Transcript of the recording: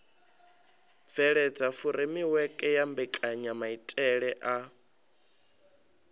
bveledza furemiweke ya mbekanyamaitele a